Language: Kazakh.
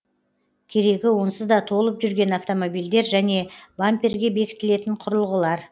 керегі онсыз да толып жүрген автомобильдер және бамперге бекітілетін құрылғылар